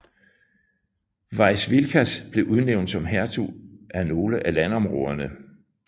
Vaišvilkas blev udnævnt som hertug af nogle af landområderne